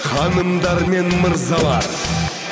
ханымдар мен мырзалар